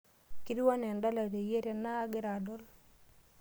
Ketiu enaa andala teyieu tenaa agira adol.